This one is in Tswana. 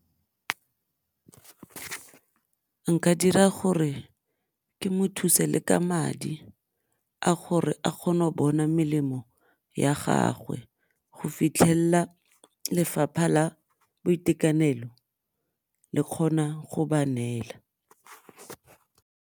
Nka dira gore ke mo thuse le ka madi a gore a kgone go bona melemo ya gagwe go fitlhella Lefapha la Boitekanelo le kgona go ba neela.